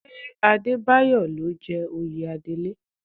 Ṣé Adébáyọ̀ ló jẹ oyè Adelé?